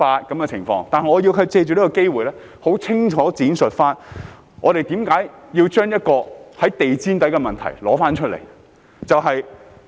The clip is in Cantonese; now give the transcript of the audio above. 但是，我促請局長藉此機會很清楚地闡釋，為何要把一個在地毯下的問題再提出來？